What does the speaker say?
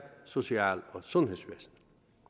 social og sundhedsvæsenet